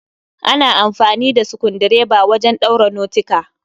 Ana amfani da sukundireba wajen ɗaura notika